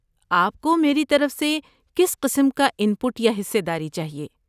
آپ کو میری طرف سے کس قسم کا ان پٹ یا حصہ داری چاہیے؟